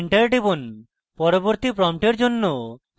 enter টিপুন পরবর্তী প্রম্পটের জন্য